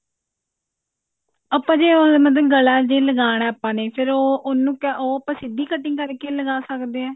ਆਪਾਂ ਜੇ ਉਹ ਮਤਲਬ ਗਲਾ ਜੇ ਲਗਾਉਣਾ ਆਪਾਂ ਨੇ ਫ਼ੇਰ ਉਹ ਉਹਨੂੰ ਕਿਹ ਉਹ ਆਪਾਂ ਸਿੱਧੀ cutting ਕਰ ਕਿ ਲਗਾ ਸਕਦੇ ਹਾਂ